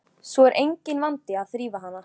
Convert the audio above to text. Svo er enginn vandi að þrífa hana.